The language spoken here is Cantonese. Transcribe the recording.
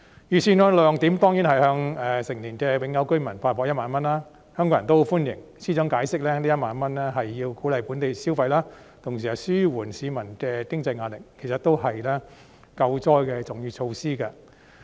預算案的亮點當然是向成年的永久居民發放1萬元，香港人也十分歡迎，司長解釋這1萬元是為了鼓勵本地消費，同時紓緩市民的經濟壓力，其實都是救災的重要措施。